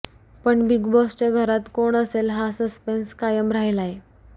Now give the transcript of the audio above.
पण बिग बाॅसच्या घरात कोण असेल हा सस्पेन्स कायम राहिलाय